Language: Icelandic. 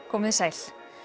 komiði sæl